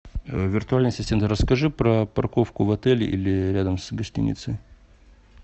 виртуальный ассистент расскажи про парковку в отеле или рядом с гостиницей